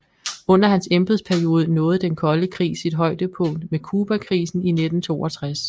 Under hans embedsperiode nåede den kolde krig sit højdepunkt med Cubakrisen i 1962